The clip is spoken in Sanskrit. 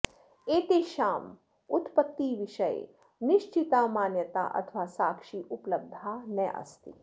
एतेषां उत्पत्तिविषये निश्चिता मान्यता अथवा साक्षी उपलब्धा नास्ति